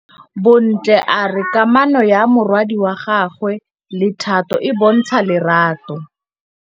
Bontle a re kamanô ya morwadi wa gagwe le Thato e bontsha lerato.